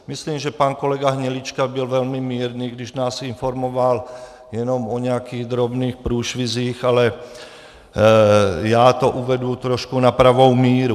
Myslím, že pan kolega Hnilička byl velmi mírný, když nás informoval jenom o nějakých drobných průšvizích, ale já to uvedu trošku na pravou míru.